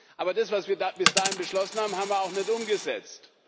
Aber das, was wir bis dahin beschlossen haben, haben wir auch nicht umgesetzt.